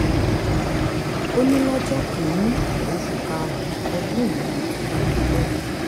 ó ní lọ́jọ́ kìn-ín-ní oṣù karùn-ún ọdún yìí ni ètò náà yóò bẹ̀rẹ̀